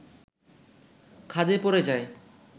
খাদে পড়ে যায়